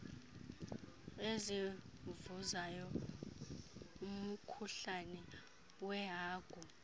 ezivuzayo umkhuhlane wehagu